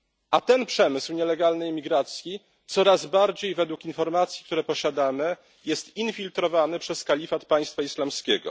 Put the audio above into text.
A ten przemysł nielegalnej imigracji jest coraz bardziej według informacji, które posiadamy infiltrowany przez kalifat Państwa Islamskiego.